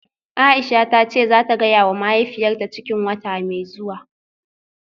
Aisha tace zata gayawa mahaifiyarta cikin wata mai zuwa.